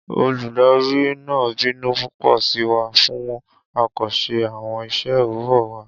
Oludari naa binu pupọ si wa fun a ko ṣe awọn iṣẹ owurọ wa.